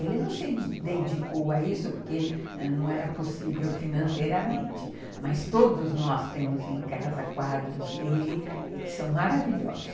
Ele não se dedicou a isso porque não era possível financeiramente, mas todos nós temos em casa quadros dele que são maravilhosos.